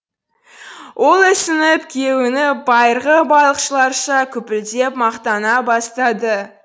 ол ісініп кеуініп байырғы балықшыларша күпілдеп мақтана бастады